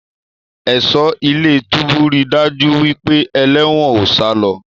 Ẹ̀ṣọ́ ilé-túbú rí daju wípé eléwòn o salọ.